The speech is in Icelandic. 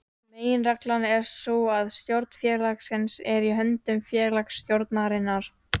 Meginreglan er sú að stjórn félagsins er í höndum félagsstjórnarinnar.